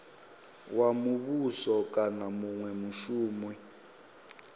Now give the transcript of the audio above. wa muvhuso kana munwe mushumi